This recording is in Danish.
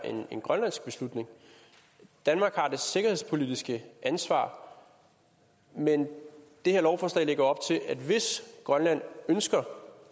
en grønlandsk beslutning danmark har det sikkerhedspolitiske ansvar men det her lovforslag lægger op til at hvis grønland ønsker